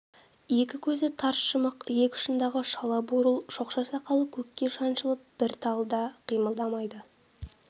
екі көзі тарс жұмық иек ұшындағы шала бурыл шоқша сақалы көкке шаншылып бір талы да қимылдамайды